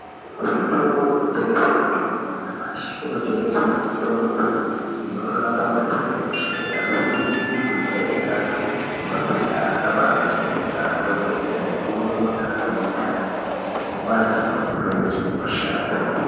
Kuzvitoro zvinotengesa mitombo yanyamashi kunotengeswa mitombo inorape matenda eshe asizi kujairikapi nematenda akabajairika kwemene sekumona kwemundani nekupanda kwemurenje nemushana.